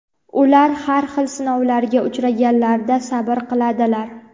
Ular har xil sinovlarga uchraganlarida sabr qiladilar.